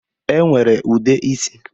E nwere ude isi